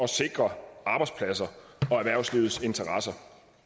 sikre arbejdspladser og erhvervslivets interesser